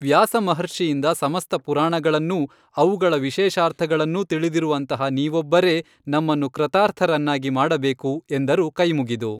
ವ್ಯಾಸಮಹರ್ಷಿಯಿಂದ ಸಮಸ್ತ ಪುರಾಣಗಳನ್ನೂ ಅವುಗಳ ವಿಶೇಷಾರ್ಥಗಳನ್ನೂ ತಿಳಿದಿರುವಂತಹ ನೀವೊಬ್ಬರೇ ನಮ್ಮನ್ನು ಕೃತಾರ್ಥರನ್ನಾಗಿ ಮಾಡಬೇಕು, ಎಂದರು ಕೈಮುಗಿದು